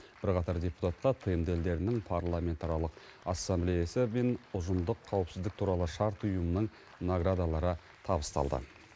бірқатар депутатқа тмд елдерінің парламентаралық ассамблеясы мен ұжымдық қауіпсіздік туралы шарт ұйымының наградалары табысталды